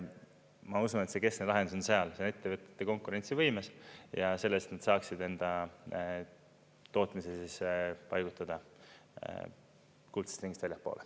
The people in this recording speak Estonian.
Ma usun, et see keskne lahendus on ettevõtete konkurentsivõimes ja selles, et nad saaksid enda tootmise paigutada kuldsest ringist väljapoole.